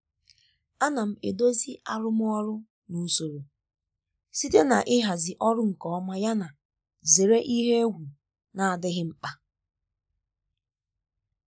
ana m edozi arụmọrụ na usoro um site na ịhazi ọrụ nke ọma yana zere ihe egwu na-adịghị mkpa.